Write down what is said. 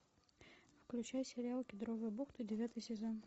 включи сериал кедровая бухта девятый сезон